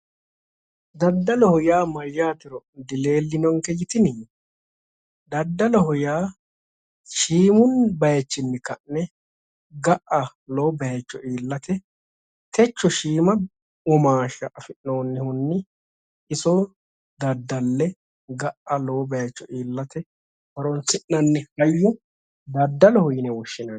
Daddalloho yaa mayatero dileelinonke yitinni ? Daddalloho yaa shiimu bayichinni ka'ne ga'a lowo bayicho iillate techo shiima womaasha afi'noonihunni iso daddalle ga"a lowo bayicho iillate horonsi'nanni hayyo daddalloho yinne woshshinanni